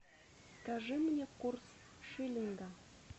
скажи мне курс шиллинга